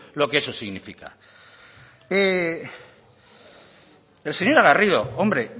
lo que eso significa señora garrido hombre